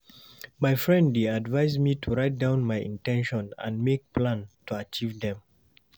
My friend dey advise me to write down my in ten tions and make plan to achieve dem.